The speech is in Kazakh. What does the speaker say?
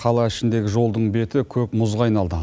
қала ішіндегі жолдың беті көк мұзға айналды